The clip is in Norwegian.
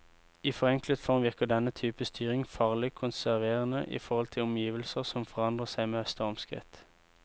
I forenklet form virker denne type styring farlig konserverende i forhold til omgivelser som forandrer seg med stormskritt.